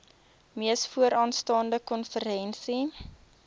mees vooraanstaande konferensie